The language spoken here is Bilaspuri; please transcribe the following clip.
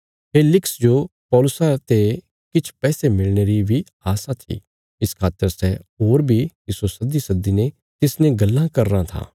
फेलिक्स जो पौलुसा ते किछ पैसे मिलणे री बी आशा थी इस खातर सै होर बी तिस्सो सद्दीसद्दीने तिसने गल्लां कराँ था